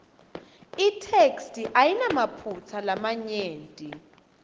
itheksthi ayinamaphutsa lamanyenti